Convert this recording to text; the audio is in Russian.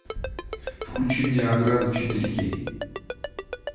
включи мне ограда четыре кей